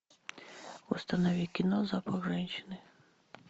установи кино запах женщины